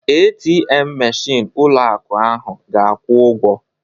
ATM meshịn ụlọ akụ ahụ ga-akwụ ụgwọ